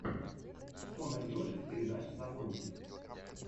что найдешь из передач савонти